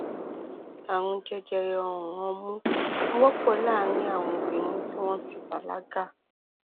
ààrùn jẹjẹrẹ ọrùn ọmú wọpọ láàárín àwọn obìnrin tí wọn ti bàlágà